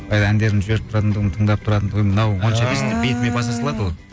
әндерімді жіберіп тұратынтұғым тыңдап тұратынтұғын мынау онша емес деп бетіме баса салады ол